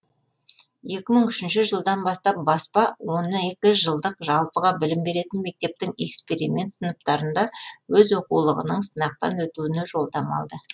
екі мың үшінші жылдан бастап баспа он екі жылдық жалпыға білім беретін мектептің эксперимент сыныптарында өз оқулығының сынақтан өтуіне жолдама алды